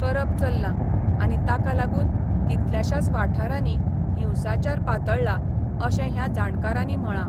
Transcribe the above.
करप चल्ला आनी ताकालागुन कितल्याशाच वाठारानी हिंसाचार पातळ्ळा, अशे ह्या जाणकारानी म्हळा.